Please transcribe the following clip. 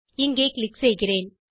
இங்கே க்ளிக் செய்கிறேன்